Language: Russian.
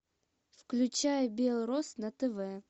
включай белрос на тв